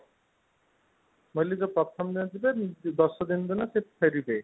ମୁଁ କହିଲି ଯୋଉ ଦଶ ଦିନ ପରେ ସେ ଫେରିବେ